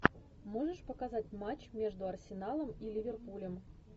можешь показать матч между арсеналом и ливерпулем